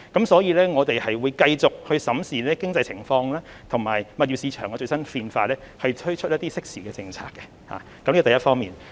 所以，我們會繼續審視經濟情況，以及物業市場的最新變化，推出適時的政策，這是第一方面。